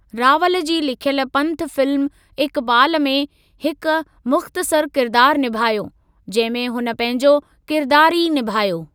रावल जी लिखियल पंथ फिल्म इकबाल में हिक मुख़्तसरु किरदार निभायो, जंहिं में हुन पंहिंजो किरदार ई निभायो।